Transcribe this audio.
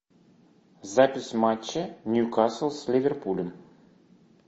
запись матча ньюкасл с ливерпулем